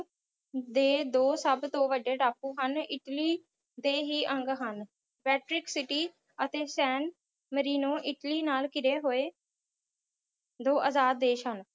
ਦੇ ਦੋ ਸਭ ਤੋਂ ਵੱਡੇ ਟਾਪੂ ਹਨ ਇੱਟਲੀ ਤੇ ਹੀ ਅੰਗ ਹਨ ਅਤੇ ਸੈਨ ਮਰੀਨੋ ਇੱਟਲੀ ਨਾਲ ਘਿਰੇ ਹੋਏ ਦੋ ਆਜ਼ਾਦ ਦੇਸ਼ ਹਨ